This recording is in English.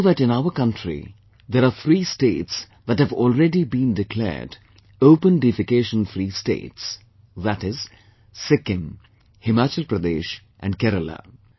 We know that in our country there are three states that have already been declared Open Defecation Free states, that is, Sikkim, Himachal Pradesh and Kerala